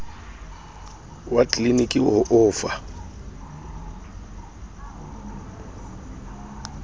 wa tleliniki ho o fa